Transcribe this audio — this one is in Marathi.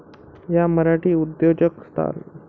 या मराठी उद्योजक स्थान.